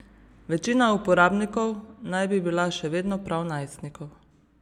Večina uporabnikov naj bi bila še vedno prav najstnikov.